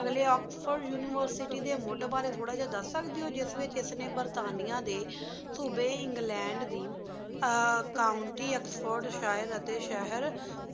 ਅਗਲੀ oxford university ਦੇ ਮੁ਼ਡ ਬਾਰੇ ਥੋਰਾ ਦਸ ਸਕਦੀ ਹੋ ਜਿਸ ਵਿਚ ਏਸ ਨੇ ਬਰਤਾਨੀਆਂ ਦੇ ਸੂਬੀ ਇੰਗ੍ਲੈੰਡ ਦੀ ਆ ਕਾਉਂਟੀ ਓਕ੍ਸ੍ਫੋਰਡ ਸ਼ਿਹਰ ਅਤੇ ਸ਼ੇਹਰ